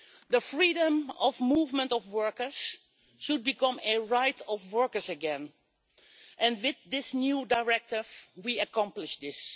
The freedom of movement of workers should become a right of workers again, and with this new directive we accomplish this.